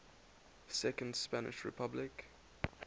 second spanish republic